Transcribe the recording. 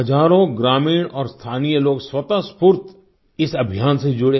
हजारों ग्रामीण और स्थानीय लोग स्वतः स्फूर्त इस अभियान से जुड़े